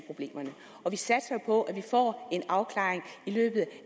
problemerne og vi satser jo på at vi får en afklaring i løbet